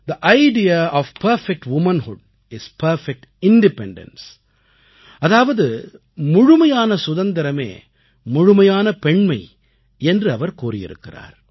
they idea of perfect womanhood is perfect independence அதாவது முழுமையான சுதந்திரமே முழுமையான பெண்மை என்று அவர் கூறியிருக்கிறார்